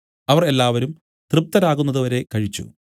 അവർ എല്ലാവരും തൃപ്തരാകുന്നതുവരെ കഴിച്ചു